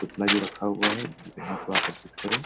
पुतला भी रखा हुआ है जो ग्राहक को आकर्षित करे।